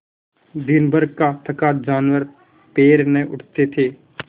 दिनभर का थका जानवर पैर न उठते थे